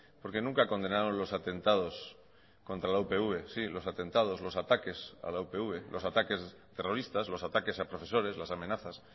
porque nunca condenaron los atentados contra la upv sí los atentados los ataques a la upv los ataques terroristas los ataques a profesores las amenazas